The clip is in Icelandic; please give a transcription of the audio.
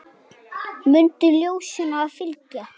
Mundu ljósinu að fylgja.